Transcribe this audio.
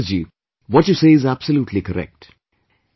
Sunder Ji, what you say is absolutely correct